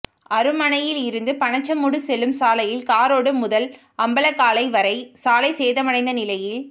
அருமனையில் இருந்து பனச்சமூடு செல்லும் சாலையில் காரோடு முதல் அம்பலக்காலை வரை சாலை சேதமடைந்த நிலையில்